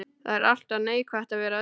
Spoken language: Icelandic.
Það er alltaf neikvætt að vera öðruvísi.